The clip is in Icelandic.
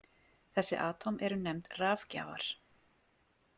Þessi atóm eru nefnd rafgjafar.